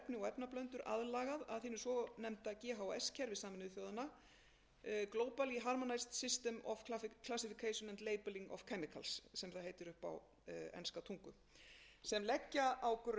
efni og efnablöndur aðlagað að hinu svonefnda ghs kerfi sameinuðu þjóðanna sem það heitir upp á enska tungu sem leggja á grunn